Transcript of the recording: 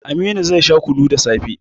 Aminu zai sha kunu da safe